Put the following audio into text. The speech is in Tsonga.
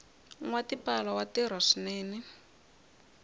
nwa tipala wa tirha swinene